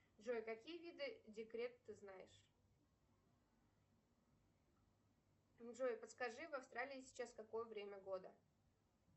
джой какие виды декрета ты знаешь джой подскажи в австралии сейчас какое время года